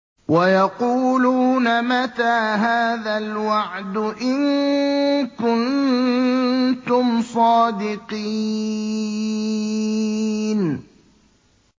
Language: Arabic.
وَيَقُولُونَ مَتَىٰ هَٰذَا الْوَعْدُ إِن كُنتُمْ صَادِقِينَ